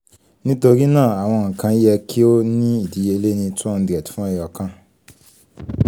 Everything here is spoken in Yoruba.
nitori naa awọn nkan yẹ ki o ni idiyele ni two hundred fun ẹyọkan